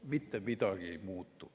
Mitte midagi ei muutu.